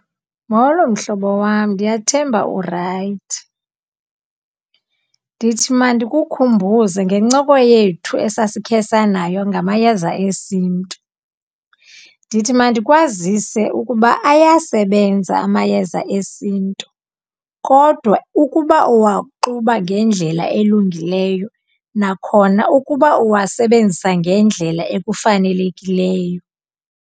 Molo, mhlobo wam. Ndiyathemba urayithi. Ndithi mandikukhumbuze ngencoko yethu esasikhe sanayo ngamayeza esintu. Ndithi mandikwazise ukuba ayasebenza amayeza esintu kodwa ukuba uwaxuba ngendlela elungileyo, nakhona ukuba uwasebenzisa ngendlela ekufanelekileyo.